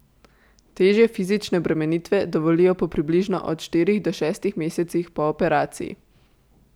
Težje fizične obremenitve dovolijo po približno od štirih do šestih mesecih po operaciji.